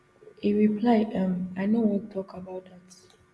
e reply um i no wan tok about dat